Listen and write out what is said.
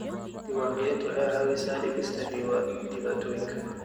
Diiwaangelintu waxay caawisaa dhimista dhibaatooyinka.